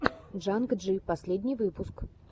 джанг джи последний выпуск